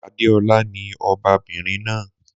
Adéọlá ni ọbabinrin náà.